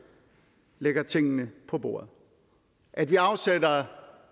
lægger tingene på bordet at vi afsætter